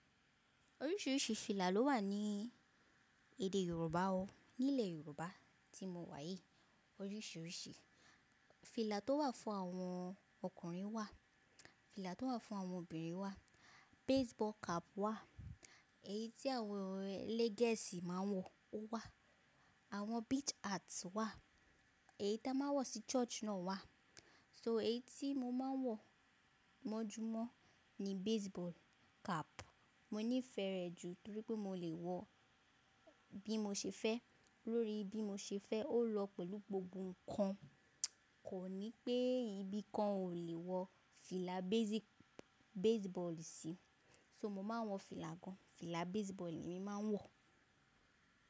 Oríṣìríṣì fìlà ló wà ní èdè Yorùbá o. Nílẹ̀ Yorùbá tí mo wà yìí, oríṣíríṣì fìlà tó wà fún àwọn ọkùnrin wà, fìlà tó wà fún àwọn obìnrin wà, baseball cap wà, èyí tí àwọn elégẹ́sì máa ń wọ, ó wà. Àwọn beach hats wà, èyí tí a máa ń wọ sí church náà wà. So èyí tí mo máa ń wọ mọ́júmọ́ ni baseball cap. Mo nífẹ̀ẹ́ rẹ̀ jù torí pé mo lè wọ bí mo ṣe fẹ́, lórí bí mo ṣe fẹ́, ó lọ pẹ̀lú gbogbo nǹkan. Kò ní pé ibìkan ò lè wọ fìlà base ball base ball sí. So mo máa ń wọ fìlà gan-an, fìlà base ball ni mo máa ń wọ.